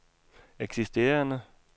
eksisterende